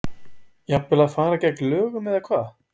Jafnvel að fara gegn lögum eða hvað?